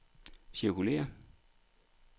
cirkulér